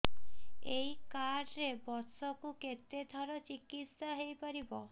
ଏଇ କାର୍ଡ ରେ ବର୍ଷକୁ କେତେ ଥର ଚିକିତ୍ସା ହେଇପାରିବ